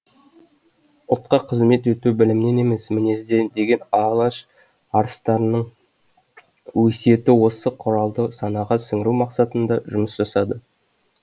ұлтқа қызмет ету білімнен емес мінезден деген алаш арыстарының өсиеті осы құралды санаға сіңіру мақсатында жұмыс жасады